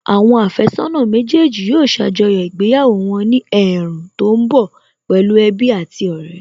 Àwọn àfẹ́sọ́nà méjèèjì yóò ṣàjọyọ̀ ìgbéyàwó wọn ní ẹ̀ẹ̀rùn tó ń bọ̀ pẹ̀lú ẹbí àti ọ̀rẹ́